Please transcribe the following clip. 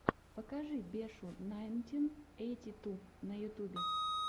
покажи бешу найнтин эйти ту на ютубе